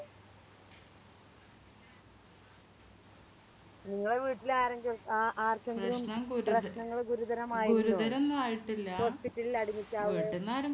നിങ്ങളെ വീട്ടില് ആരെങ്കിലും ആ ആർക്കെങ്കിലും പ്രശ്നങ്ങൾ Hospital ല് Admit ആവുകയോ